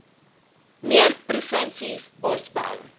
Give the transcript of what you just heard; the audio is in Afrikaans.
meer provinsies bosbou